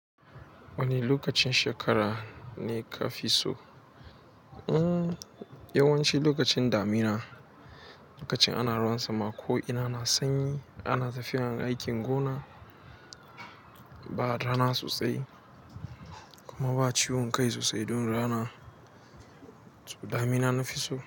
Wane lokacin shekara ne ka fi so? Hm, yawanci lokacin damina, lokacin ana ruwan sama ko ina na sanyi, ana tafiya aikin gona, ba rana sosai, kuma ba ciwon kai sosai don rana. Damina na fi so.